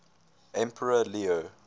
emperor leo